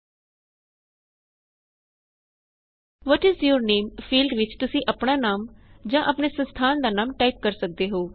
what is your name field ਵਿੱਚ ਤੁਸੀਂ ਆਪਣਾ ਨਾਮ ਜਾਂ ਆਪਣੇ ਸੰਸਥਾਨ ਦਾ ਨਾਮ ਟਾਇਪ ਕਰ ਸਕਦੇ ਹੋ